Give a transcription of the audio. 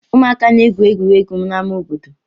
Ụmụaka na-egwuri egwu n'ámá obodo.